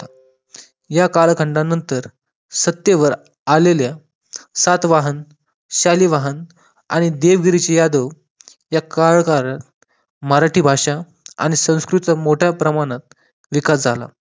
या कालखंडानंतर सत्तेवर आलेल्या सातवाहन, शालिवाहन आणि देव ऋषी यादव या कार्यकाळ मराठी भाषा आणि संस्कृत चा मोठ्या प्रमाणात विकास झाला